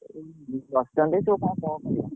ବସଛନ୍ତି ସବୁ କଣ କରିବେ?